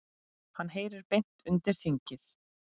Hann heyri beint undir þingið.